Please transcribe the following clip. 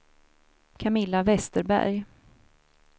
Camilla Vesterberg